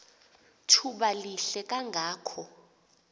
thuba lihle kangako